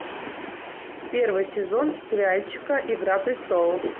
первый сезон сериальчика игра престолов